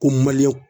Ko